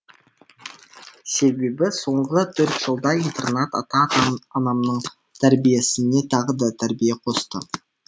себебі соңғы төрт жылда интернат ата анамның тәрбиесіне тағы да тәрбие қосты